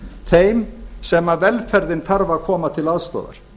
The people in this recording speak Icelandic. þeim sem velferðin þarf að koma til aðstoðar